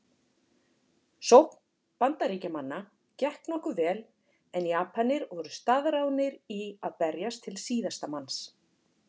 Sókn Bandaríkjamanna gekk nokkuð vel en Japanir voru staðráðnir í að berjast til síðasta manns.